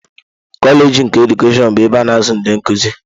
Koleeji nke Edukeshọn bụ ebe a na-azụ ndị nkuzi.